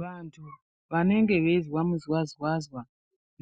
Vantu vanenge veizwa muzwazwazwa